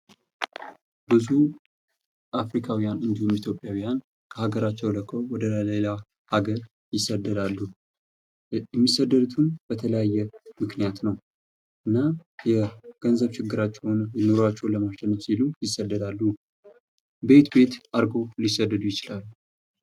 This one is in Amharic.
ብዙ ኢትዮጵያዊያን እንዲሁም አፍሪካውያን ከአገራቸው ለቀው ወደ ሌላ ሀገር ይሰደዳሉ። የሚሰደዱትም በተለያየ ምክኒያት ነው። እና የገንዘብ ችግራቸውን ኑሯቸው ለማሸነፍ ሲሉ ይሰደዳሉ። በየት በየት አድርገው ሊሰደዱ ይችላሉ።